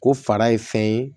Ko fara ye fɛn ye